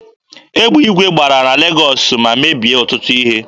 Egbe igwe gbara na Legọọsị ma mebie ọtụtụ ihe.